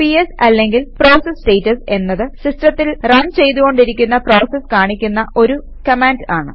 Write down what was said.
PS അല്ലെങ്കിൽ process status എന്നത് സിസ്റ്റത്തിൽ റൺ ചെയ്തുകൊണ്ടിരിക്കുന്ന പ്രോസസസ് കാണിക്കുന്ന ഒരു കമാൻഡ് ആണ്